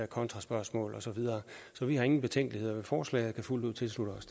kontraspørgsmål og så videre så vi har ingen betænkeligheder ved forslaget og kan fuldt ud tilslutte os